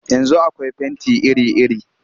Yanzu akwai fenti iri-iri